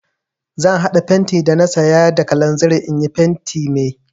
Zan haɗa fenti da na saya da kalanzir in yi fentin mai.